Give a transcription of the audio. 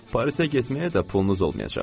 Parisə getməyə də pulunuz olmayacaq.